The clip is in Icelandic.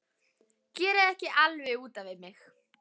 Gerið ekki alveg út af við mig!